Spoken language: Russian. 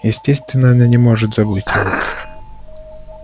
естественно она не может забыть его